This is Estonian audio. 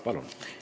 Palun!